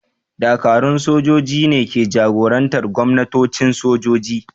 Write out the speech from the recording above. Dakarun sojoji ne ke jagorantar gwamnatocin sojoji.